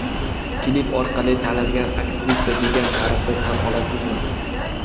Klip orqali tanilgan aktrisa, degan ta’rifni tan olasizmi?